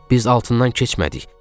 Biz altından keçmədik.